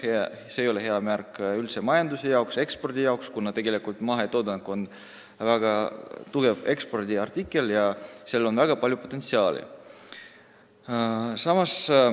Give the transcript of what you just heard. See ei ole üldse hea märk majanduse ega ekspordi jaoks, kuna mahetoodang on tegelikult väga tugev ekspordiartikkel ja sellel on väga palju potentsiaali.